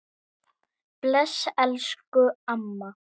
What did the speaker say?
Bless, elsku amma.